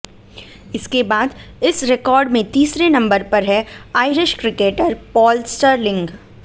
इसके बाद इस रिकॉर्ड में तीसरे नंबर पर है आइरिश क्रिकेटर पॉल स्टिरलिंग